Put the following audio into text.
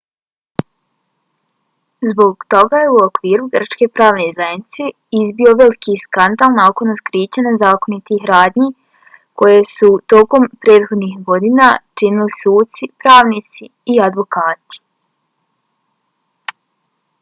zbog toga je u okviru grčke pravne zajednice izbio veliki skandal nakon otkrića nezakonitih radnji koje su tokom prethodnih godina činili suci pravnici i advokati